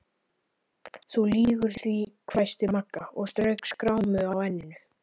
Þú lýgur því hvæsti Magga og strauk skrámu á enninu.